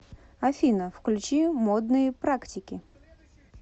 афина включи модные практики